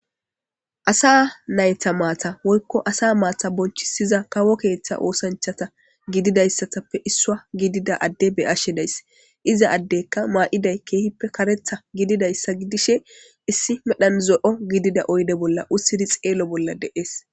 Asa nayta maata woykko asa maata bonchisiza kawo keeththa oosanchata gididayssatappe issua gidida adde beashedays iza addekka maa'iday keehippe karetha gididayssa gidishe issi medhanzo'o gidida oyde bolla ussidi xeelo bolla deees.